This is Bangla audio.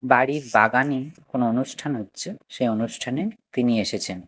বাড়ির বাগানে কোনো অনুষ্ঠান হচ্ছে সেই অনুষ্ঠানে তিনি এসেছেন।